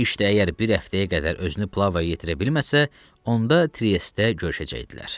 İşdə əgər bir həftəyə qədər özünü plavaya yetirə bilməsə, onda triestdə görüşəcəkdilər.